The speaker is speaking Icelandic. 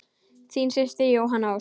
Þín systir Jóhanna Ósk.